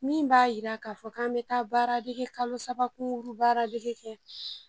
Min b'a yira k'a fɔ k'an me taa baara dege kalo saba kunkurun baaradege kɛ